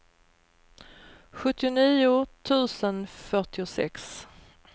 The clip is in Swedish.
sjuttionio tusen fyrtiosex